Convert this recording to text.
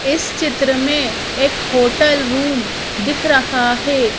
इस चित्र में एक होटल रूम दिख रहा है।